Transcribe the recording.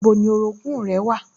Níbo ni orogún-ùn rẹ wà?